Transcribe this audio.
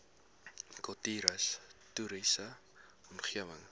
kultuurhis toriese omgewing